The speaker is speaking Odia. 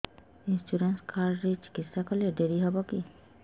ଇନ୍ସୁରାନ୍ସ କାର୍ଡ ରେ ଚିକିତ୍ସା କଲେ ଡେରି ହବକି